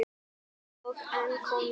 Og enn kom nei.